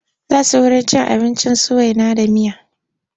Za su wurin cin abinci su waina da miya.